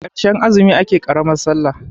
karshen azumi ake karamar sallah